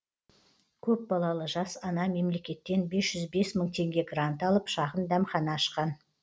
көп балалы жас ана мемлекеттен бес жүз бес мың теңге грант алып шағын дәмхана ашқан